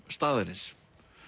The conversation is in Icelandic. staðarins